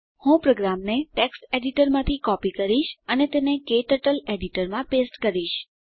હું પ્રોગ્રામને ટેક્સ્ટ એડીટરમાંથી કોપી કરીશ અને તેને ક્ટર્ટલ એડીટરમાં પેસ્ટ કરીશ